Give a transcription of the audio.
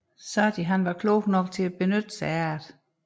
Sarti var klog nok til at benytte sig heraf